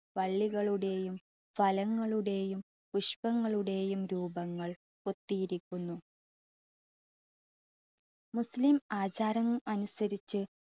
വള്ളികളുടെയും ഫലങ്ങളുടെയും പുഷ്പങ്ങളുടെയും രൂപങ്ങൾ കൊത്തിയിരിക്കുന്നു. മുസ്ലിം ആചാരം അനുസരിച്ചു